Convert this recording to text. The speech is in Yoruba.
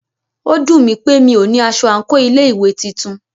Ó dùnmí pé mí o ní aṣọ àńkò ilé ìwé titun.